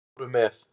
Og fóru með.